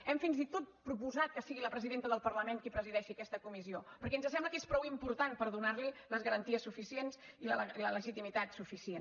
hem fins i tot proposat que sigui la presidenta del parlament qui presideixi aquesta comissió perquè ens sembla que és prou important per donar li les garanties suficients i la legitimitat suficient